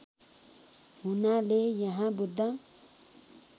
हुनाले यहाँ बुद्ध